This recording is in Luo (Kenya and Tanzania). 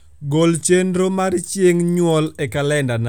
gol chenro mar chieng nyuol e kalendana